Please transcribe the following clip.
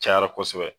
Cayara kosɛbɛ